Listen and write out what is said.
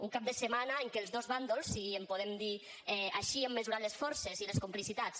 un cap de setmana en què els dos bàndols si en podem dir així hem mesurat les forces i les complicitats